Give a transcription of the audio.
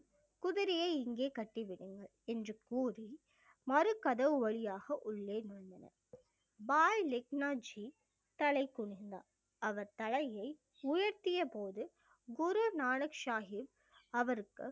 குதிரையை இங்கே கட்டி விடுங்கள் என்று கூறி மறுகதவு வழியாக உள்ளே நுழைந்தனர் பாய் லெக்னா ஜி தலைகுனிந்தார் அவர் தலையை உயர்த்திய போது குரு நானக் சாஹிப் அவருக்கு